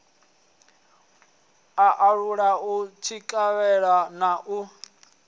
alula u tsikeledza na u